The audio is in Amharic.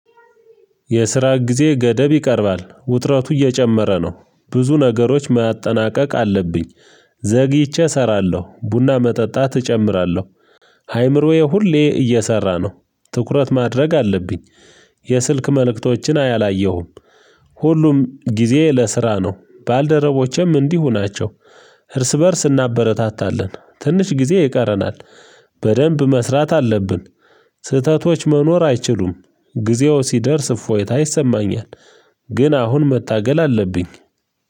የስራ ጊዜ ገደብ ይቀርባል ውጥረቱ እየጨመረ ነው ብዙ ነገሮች ማጠናቀቅ አለብኝ። ዘግይቼ እሰራለሁ ቡና መጠጣት እጨምራለሁ። አይምሮዬ ሁሌ እየሰራ ነው ትኩረት ማድረግ አለብኝ። የስልክ መልእክቶችን አላየሁም። ሁሉም ጊዜ ለስራ ነው ባልደረቦቼም እንዲሁ ናቸው። እርስ በእርስ እናበረታታለን ትንሽ ጊዜ ይቀረናል። በደንብ መስራት አለብን። ስህተቶች መኖር አይችሉም ጊዜው ሲደርስ እፎይታ ይሰማኛል። ግን አሁን መታገል አለብኝ